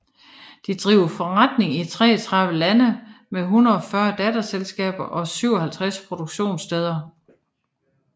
De driver forretning i 33 lande med 140 datterselskaber og 57 produktionssteder